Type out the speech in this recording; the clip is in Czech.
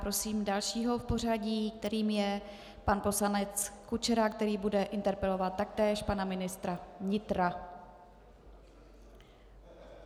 Prosím dalšího v pořadí, kterým je pan poslanec Kučera, který bude interpelovat taktéž pana ministra vnitra.